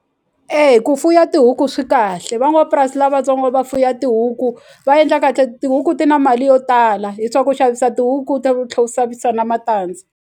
E ku fuya tihuku swi kahle van'wapurasi lavatsongo va fuya tihuku va endla kahle tihuku ti na mali yo tala hi swa ku xavisa tihuku ta ku tlhe ku na matandza.